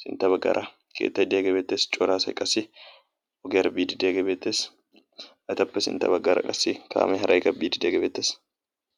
sintta baggaraa keettay de'iyaage beettees. cora asay ogiyaara biidi de'iyaage beettees, etappe sintta baggaara qassi kaame haray biidi de'iyaage beettes.